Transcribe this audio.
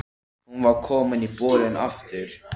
Hún var komin í bolinn aftur.